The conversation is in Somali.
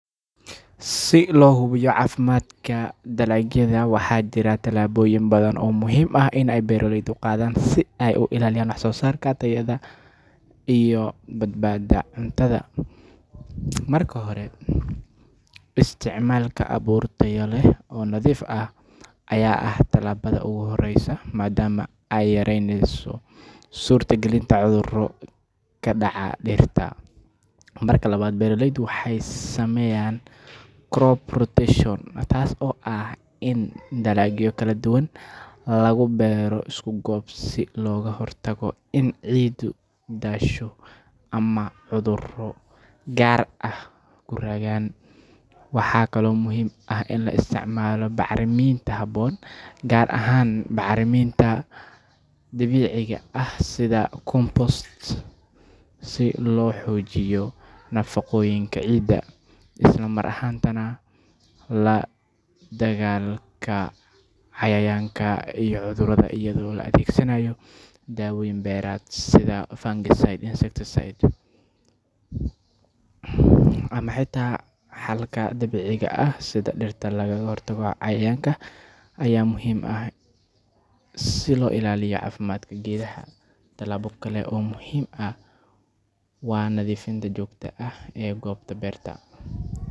Si loo hubiyo caafimaadka dalagyada, waxaa jira tallaabooyin badan oo muhiim ah oo ay beeraleydu qaadaan si ay u ilaaliyaan wax-soo-saarka, tayada iyo badbaadada cuntada. Marka hore, isticmaalka abuur tayo leh oo nadiif ah ayaa ah tallaabada ugu horreysa, maadaama ay yareynayso suurtagalnimada cudurro ku dhaca dhirta. Marka labaad, beeraleydu waxay sameeyaan crop rotation, taas oo ah in dalagyo kala duwan lagu beero isku goob si looga hortago in ciiddu daasho ama cudurro gaar ah ku raagaan. Waxaa kaloo muhiim ah in la isticmaalo bacriminta habboon, gaar ahaan bacriminta dabiiciga ah sida compost si loo xoojiyo nafaqooyinka ciidda. Isla mar ahaantaana, la dagaallanka cayayaanka iyo cudurrada iyadoo la adeegsanayo dawooyin beereed sida fungicides, insecticides, ama xitaa xalka dabiiciga ah sida dhirta lagaga hortago cayayaanka, ayaa muhiim ah si loo ilaaliyo caafimaadka geedaha. Tallaabo kale oo muhiim ah waa nadiifinta joogtada ah ee goobta beerta.